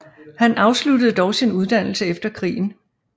Han afsluttede dog sin uddannelse efter krigen